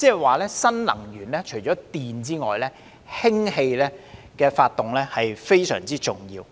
換言之，在新能源中，除電能外，氫能亦非常重要。